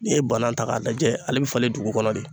N'i ye bana ta k'a lajɛ ale bɛ falen dugu kɔnɔ de.